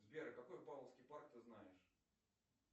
сбер какой павловский парк ты знаешь